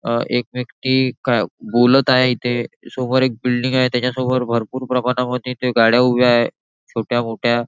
अ एक व्यक्ती काय बोलत आहे इथे समोर एक बिल्डिंग आहे त्याच्यासमोर भरपूर प्रमाणावर गाड्या उभ्या आहे छोट्या-मोठ्या.